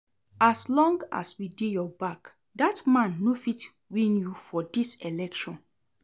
As long as we dey your back, dat man no fit win you for dis election